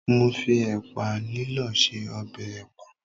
Mo fi ẹ̀pà lílọ̀ ṣe ọbẹ̀ ẹ̀pà.